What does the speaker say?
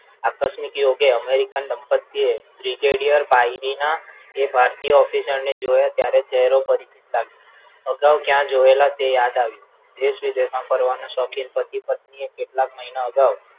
આકસ્મિક યોગે અમેરિકન દંપતિએ brigadier પાયલીના એ ભારતીય officer ને જોયા ત્યારે ચહેરો પરિચિત લાગ્યો અગાવ ક્યાં જોયેલા તે યાદ આવ્યું દેશ વિદેશમાં ફરવાના શોખીન પતિપત્નીએ કેટલાક મહિના અગાઉ